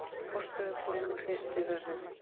Forstöðukonan hristi höfuðið.